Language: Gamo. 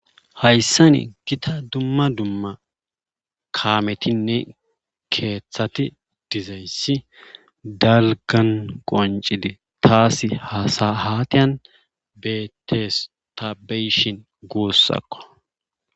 hayssani gita dumma dumma kaametinne keeththati dizayssi dalgan qoncidi taas hasahatiyan betestabeyshin guussakko